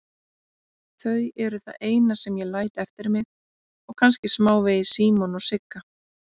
Þau eru það eina sem ég læt eftir mig og kannski smávegis Símon og Sigga.